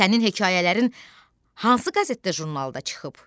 Sənin hekayələrin hansı qəzetdə, jurnalda çıxıb?